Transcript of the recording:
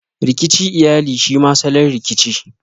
Rikici iyali shema salon Rikici.